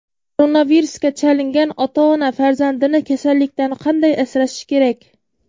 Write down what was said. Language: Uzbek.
Koronavirusga chalingan ota-ona farzandini kasallikdan qanday asrashi kerak?